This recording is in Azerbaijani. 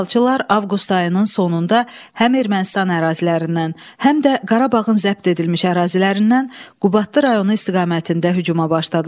İşğalçılar avqust ayının sonunda həm Ermənistan ərazilərindən, həm də Qarabağın zəbt edilmiş ərazilərindən Qubadlı rayonu istiqamətində hücuma başladılar.